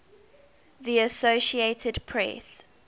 the associated press